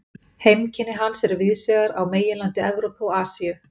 Heimkynni hans eru víðsvegar á meginlandi Evrópu og Asíu.